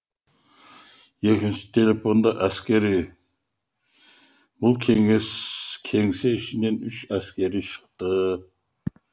екінші телефонда әскери бұл кеңсе ішінен үш әскери шықты